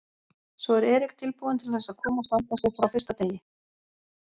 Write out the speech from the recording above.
Svo er Eric tilbúinn til þess að koma og standa sig frá fyrsta degi?